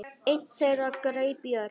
Einn þeirra greip í Örn.